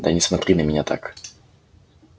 да не смотри на меня так